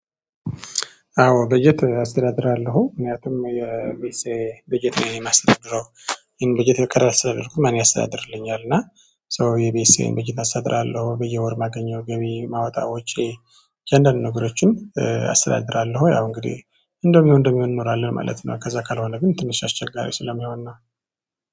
አዎ በጀት አስተዳድራለሁ ምክንያቱም የቤተሰቤ በጀት እኔ ነው የማስተዳደርው። ይሄን በጀት ያሰደድኩኝ ማን ያስተዳድርልኛል። እና ሶ የቤተሰቤን በጀት አሰድራለሁ በየወር ማገኘው ገቢ ማውጣው ወጪ። እያንዳንዱ ነገሮችን አስተዳድራለሁ። ያው እንግዲህ እንደሚሆን እንደሚሆን እኖራለን ማለት ነው። ከዛ ካልሆነ ግን ትንሽ አስቸጋሪ ስለሚሆን ነው